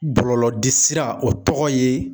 Bɔlɔlɔ de sira o tɔgɔ ye